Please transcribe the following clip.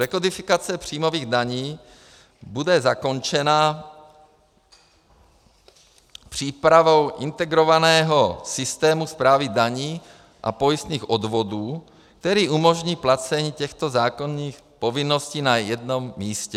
Rekodifikace příjmových daní bude zakončena přípravou integrovaného systému správy daní a pojistných odvodů, který umožní placení těchto zákonných povinností na jednom místě.